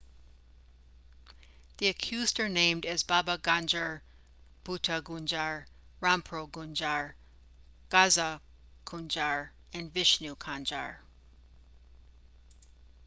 the accused are named as baba kanjar bhutha kanjar rampro kanjar gaza kanjar and vishnu kanjar